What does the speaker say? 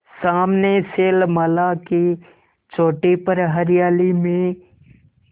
सामने शैलमाला की चोटी पर हरियाली में